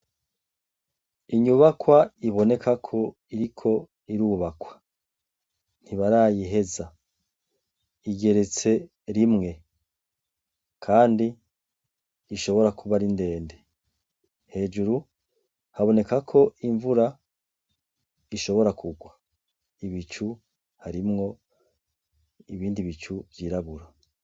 Inyubakwa iboneka ko iri ko irubakwa ntibarayiheza igeretse rimwe, kandi ishobora kuba ari ndende hejuru haboneka ko imvura ishobora kugwai bicu harimwo ibindi bicu vyirabura.